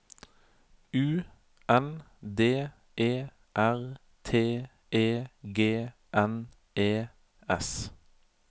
U N D E R T E G N E S